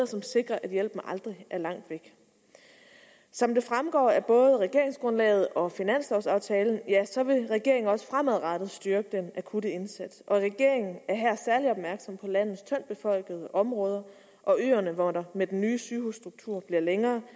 som sikrer at hjælpen aldrig er langt væk som det fremgår af både regeringsgrundlaget og finanslovaftalen vil regeringen også fremadrettet styrke den akutte indsats og regeringen er her særlig opmærksom på landets tyndtbefolkede områder og øerne hvor der med den nye sygehusstruktur bliver længere